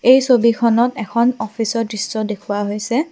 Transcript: এই ছবিখনত এখন অফিচৰ দৃশ্য দেখুওৱা হৈছে।